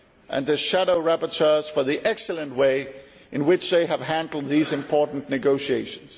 and the shadow rapportuers for the excellent way in which they have handled these important negotiations.